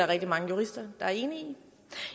rigtig mange jurister der er enige i